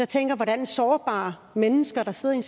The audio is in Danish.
tænker hvordan sårbare mennesker der sidder i